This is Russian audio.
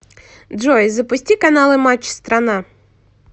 джой запусти каналы матч страна